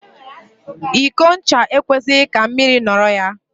Iko ncha e kwesịghị ka mmiri nọrọ ya.